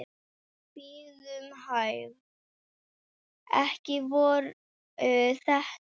Bíðum hæg. ekki voru þetta?